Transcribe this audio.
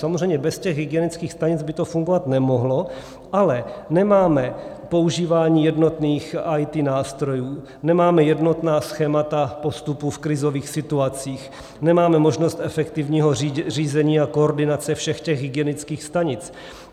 Samozřejmě bez těch hygienických stanic by to fungovat nemohlo, ale nemáme používání jednotných IT nástrojů, nemáme jednotná schémata postupu v krizových situacích, nemáme možnost efektivního řízení a koordinace všech těch hygienických stanic.